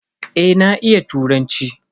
Eh na iya turanci.